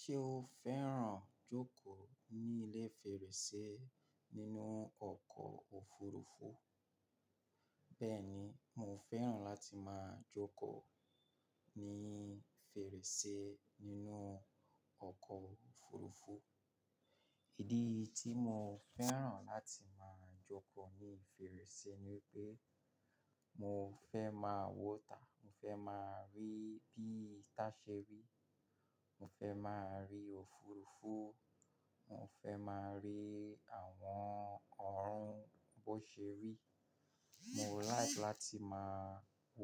Ṣé o fẹ́ràn jókòó ní ilé fèrèsé nínú ọkọ̀ òfurufú? Bẹ́ẹ̀ni, mo fẹ́ràn láti máa jókòó ní fèrèsé nínú ọkọ̀ òfurufú. Ìdí tí mo fẹ́ràn láti máa jókòó ní fèrèsé ni wípé mo fẹ́ máa wọ́ta, mo fẹ́ máa rí bí itá ṣe rí, mo fẹ́ máa rí òfurufú, mo fẹ́ máa rí àwọn ọ̀run bó ṣe rí. Mo like láti máa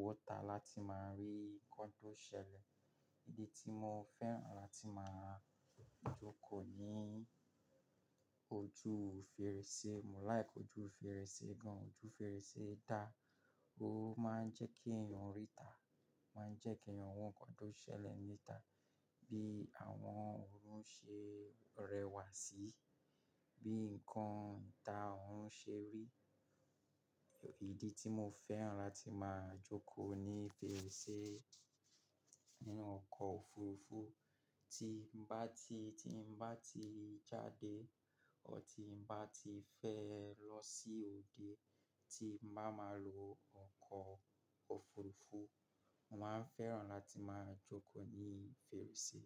wọ́ta láti máa rí nǹkan tó ṣẹlẹ̀. Ìdí tí mo fẹ́ràn láti máa jókòó ní ojú fèrèsé, mo like ojú fèrèsé gan. Ojú fèrèsé dá, ó máa ń jẹ́ kí èèyàn rí ìta, máa ń jẹ́ kí èèyàn wò nǹkan tó ṣẹlẹ̀ ní ìta, bí àwọn ọ̀run ṣe rẹwà síi, bí nǹkan ìta ọ̀rún ṣe rí. Ìdí tí mo fẹ́ràn láti máa jókòó ní fèrèsé nínú ọkọ̀ òfurufú, tí n bá ti, tí n bá ti jáde ọ́ ti n bá ti fẹ́ lọ sí òde, tí n bá máa lo ọkọ̀ òfurufú, mo máa ń fẹ́ràn láti máa jókòó ní fèrèsé.